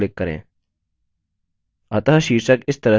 अतः शीर्षक इस तरह से जोड़ सकते हैं